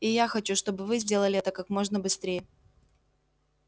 и я хочу чтобы вы сделали это как можно быстрее